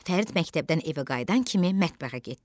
Fərid məktəbdən evə qayıdan kimi mətbəxə getdi.